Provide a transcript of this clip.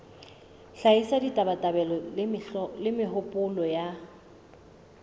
hlahisa ditabatabelo le mehopolo ya